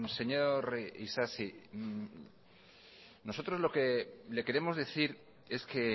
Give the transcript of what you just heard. señor isasi nosotros lo que le queremos decir es que